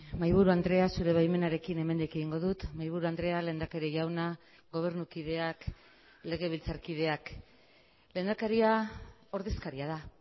mahaiburu andrea zure baimenarekin hemendik egingo dut mahaiburu andrea lehendakari jauna gobernukideak legebiltzarkideak lehendakaria ordezkaria da